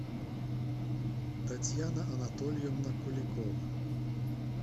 татьяна анатольевна куликова